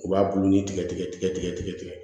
U b'a bulu ni tigɛ tigɛ tigɛ tigɛ